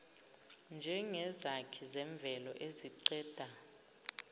njengezakhi zemvelo eziqeda